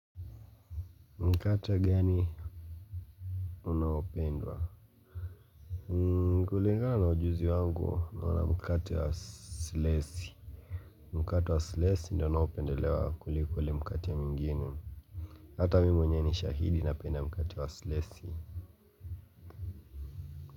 Mkate gani unaopendwa? Kulingana na ujuzi wangu naona mkata wa slesi. Mkata wa slesi ndio unaopendelewa kuliko ule mkate mwingine. Hata mimi mwenyewe ni shahidi napenda mkate wa slesi.